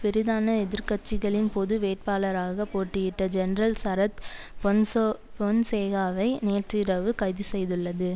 பிரிதான எதிர் கட்சிகளின் பொது வேட்பாளராக போட்டியிட்ட ஜெனரல் சரத் பொன்சோ பொன்சேகாவை நேற்று இரவு கைது செய்துள்ளது